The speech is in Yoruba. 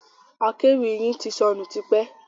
Akéwì yin ti sọnù tipẹ́.